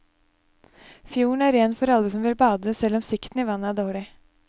Fjorden er ren for alle som vil bade, selv om sikten i vannet er dårlig.